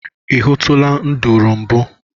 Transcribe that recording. I hụtụla nduru mbụ?